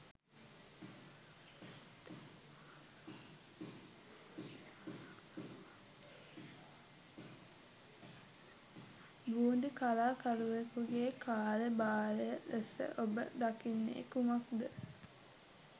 බූන්දි කලාකරුවෙකුගේ කාර්යභාරය ලෙස ඔබ දකින්නේ කුමක්ද?